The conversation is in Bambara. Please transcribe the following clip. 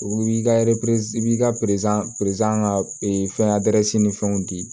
U b'i ka i b'i ka ka fɛn ni fɛnw di